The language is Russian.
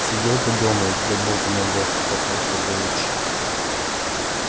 сидел бы дома да богу молился так вышло бы лучше